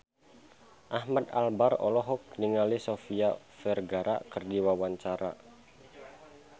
Ahmad Albar olohok ningali Sofia Vergara keur diwawancara